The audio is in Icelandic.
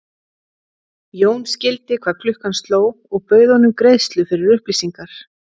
Jón skildi hvað klukkan sló og bauð honum greiðslu fyrir upplýsingar.